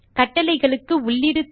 கட்டளைகளுக்கு உள்ளீடு தரும்